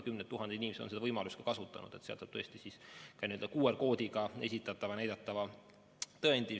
Kümned tuhanded inimesed on seda võimalust kasutanud, seal on QR-koodi abil näidatav tõend.